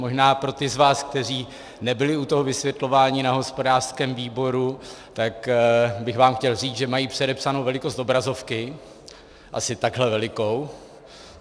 Možná pro ty z vás, kteří nebyli u toho vysvětlování na hospodářském výboru, tak bych vám chtěl říct, že mají předepsanou velikost obrazovky - asi takhle velikou.